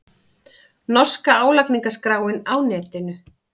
Norska álagningarskráin á netinu